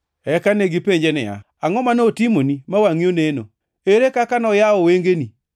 Eka negipenje niya, “Angʼo ma notimoni ma wangʼi oneno? Ere kaka noyawo wengeni?”